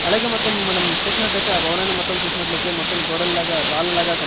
అలాగే మొత్తం మనం చూసినట్టయితే ఆ భవనాన్ని మొత్తం చూసినట్లయితే మొత్తం గోడల్లాగా రాళ్లగా కని--